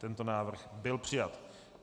Tento návrh byl přijat.